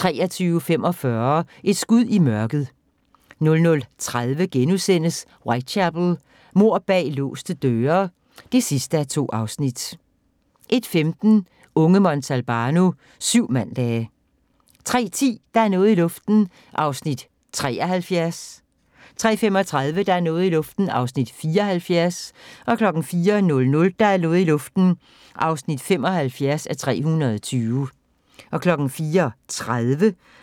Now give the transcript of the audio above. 23:45: Et skud i mørket 00:30: Whitechapel: Mord bag låste døre (2:2)* 01:15: Unge Montalbano: Syv mandage 03:10: Der er noget i luften (73:320) 03:35: Der er noget i luften (74:320) 04:00: Der er noget i luften (75:320) 04:30: